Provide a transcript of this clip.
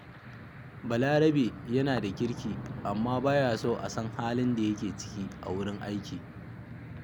Balarabe yana da kirki, amma ba ya son a san halin da yake ciki a wurin aiki